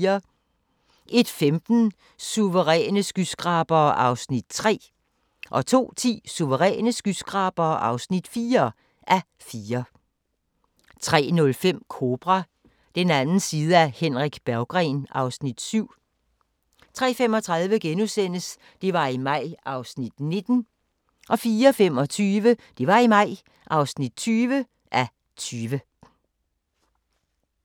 01:15: Suveræne skyskrabere (3:4) 02:10: Suveræne skyskrabere (4:4) 03:05: Kobra – den anden side af Henrik Berggren (Afs. 7) 03:35: Det var i maj (19:20)* 04:25: Det var i maj (20:20)